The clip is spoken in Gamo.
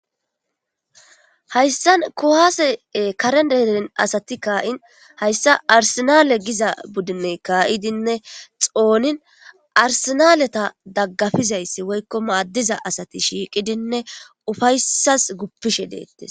Hayssan kohasee karendein asati kaa'in hayssa arsinale giza budinne kaayidinne xoonin arsinaleta daggafizayssi woykko maaddiza asati shiiqidinne ufaysas guppishe deettes.